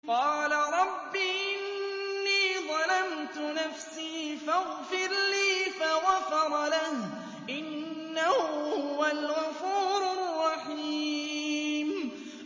قَالَ رَبِّ إِنِّي ظَلَمْتُ نَفْسِي فَاغْفِرْ لِي فَغَفَرَ لَهُ ۚ إِنَّهُ هُوَ الْغَفُورُ الرَّحِيمُ